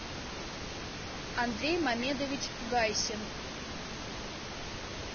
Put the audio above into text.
андрей мамедович гайсин